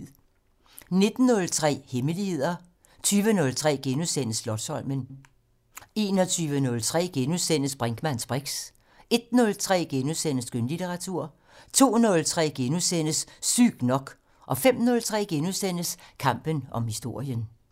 19:03: Hemmeligheder 20:03: Slotsholmen * 21:03: Brinkmanns briks * 01:03: Skønlitteratur * 02:03: Sygt nok * 05:03: Kampen om historien *